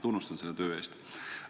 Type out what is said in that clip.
Tunnustan teid selle töö eest!